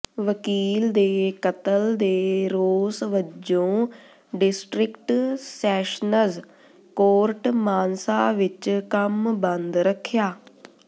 ਵਕੀਲ ਦੇ ਕਤਲ ਦੇ ਰੋਸ ਵਜੋਂ ਡਿਸਟਿ੍ਕਟ ਸੈਸ਼ਨਜ਼ ਕੋਰਟ ਮਾਨਸਾ ਵਿਚ ਕੰਮ ਬੰਦ ਰੱਖਿਆ